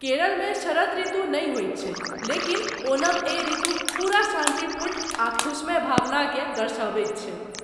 केरलमे शरद ऋतु नहि होयत छै लेकिन ओणम एहि ऋतुक पूरा शान्तिपूर्ण आ खुशमय भावना केँ दर्शबैत छै।